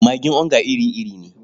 Magin onga iri-iri ne.